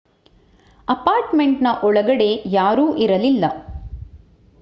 ಅಪಾರ್ಟ್‍ಮೆಂಟ್‌ನ ಒಳಗಡೆ ಯಾರೂ ಇರಲಿಲ್ಲ